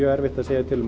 erfitt að segja